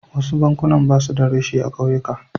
Wasu bankunan ba su da reshe a ƙauyuka.